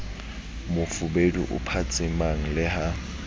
mofubedu o phatsimang le ha